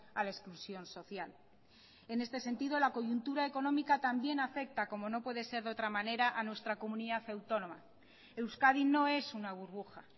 a la exclusión social en este sentido la coyuntura económica también afecta como no puede ser de otra manera a nuestra comunidad autónoma euskadi no es una burbuja